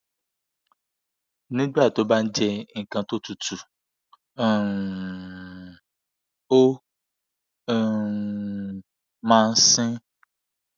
nígbà tó bá jẹ nkan tó tutù um ó um máa ń sin